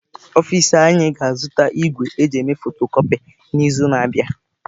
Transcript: Ọfịs anyị ga-azụta igwe eji eme fotokọpi n'izu na-abịa.